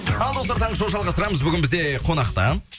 ал достар таңғы шоу жалғастырамыз бүгін бізде қонақта